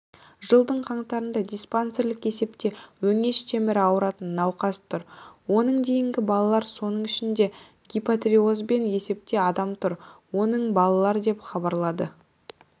жылдың қаңтарында диспансерлік есепте өңеш темірі ауыратын науқас тұр оның дейінгі балалар соның ішіндегипотириозбен есепте адам тұр оның балалар деп хабарлады